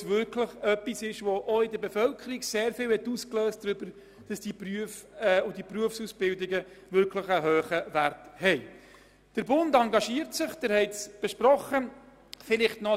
Es hat auch in der Bevölkerung viel ausgelöst, dass die Berufsausbildungen eine so hohe Wertschätzung geniessen.